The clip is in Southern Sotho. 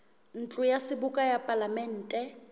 ntlo ya seboka ya palamente